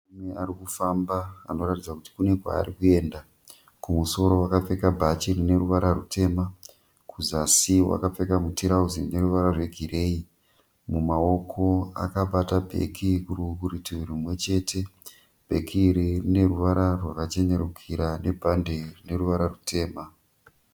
Murume ari kufamba anoratidza kuti kune kwaari kuenda. Kumusoro akapfeka bhachi rine ruvara rutema, kuzasi akapfeka mutirauzi une ruvara rwegireyi. Mumaoko akabata bheki kurutivi rwumwechete. Bheki iri rine ruvara rwakachenerukira nebhandi rine ruvara rutema.